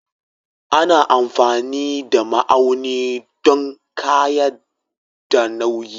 Ana amfani da ma'auni don ƙayyade nauyi